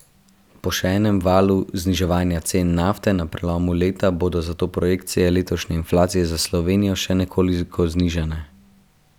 Po še enem valu zniževanja cen nafte na prelomu leta bodo zato projekcije letošnje inflacije za Slovenijo še nekoliko znižane.